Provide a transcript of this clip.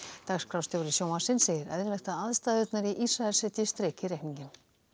dagskrárstjóri sjónvarpsins segir eðlilegt að aðstæðurnar í Ísrael setji strik í reikninginn